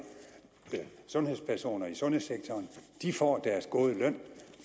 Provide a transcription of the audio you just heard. sundhedspersoner i sundhedssektoren de får deres gode løn